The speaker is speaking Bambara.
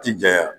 Ti janya